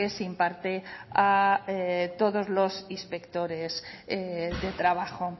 se imparte a todos los inspectores de trabajo